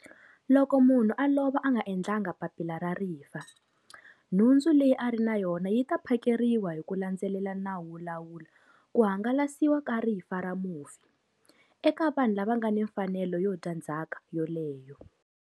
Loko munhu a lova a nga endlanga papila ra rifa, nhundzu leyi a ri na yona yi ta phakeriwa hi ku landzelela Nawu wo Lawula ku hangalasiwa ka Rifa ra Mufi, eka vanhu lava nga ni mfanelo yo dya ndzhaka yoleyo.